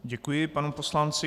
Děkuji panu poslanci.